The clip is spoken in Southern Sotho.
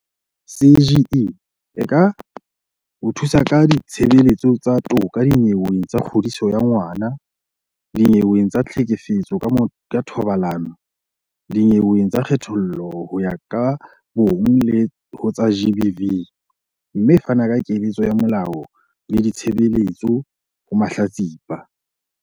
CGE e ka o thusa ka ditshebeletso tsa toka dinyeweng tsa kgodiso ya ngwana, dinyeweng tsa tlhekefetso ka thobalano, dinyeweng tsa kgethollo ho ya ka bong le ho tsa GBV, mme e fana ka keletso ya molao le ditshebeletso ho mahlatsipa.